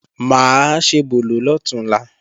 Mà á ṣebòlò lọ̀túnla